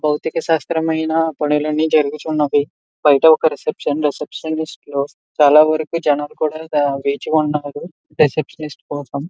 భౌతిక శాస్త్రమైన పనులన్నీ జరుగుతున్నవి బయట ఒక రిసెప్షన్ రిసిప్షనిస్ట్ లో చాలా వరకు జనాలు కూడా వేచి వున్నారు రిసెప్షనిస్ట్ కోసం.